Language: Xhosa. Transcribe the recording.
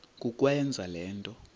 kukwenza le nto